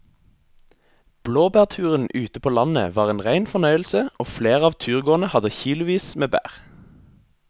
Blåbærturen ute på landet var en rein fornøyelse og flere av turgåerene hadde kilosvis med bær.